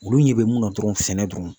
Olu ɲɛ bɛ mun na dɔrɔn sɛnɛ dɔrɔn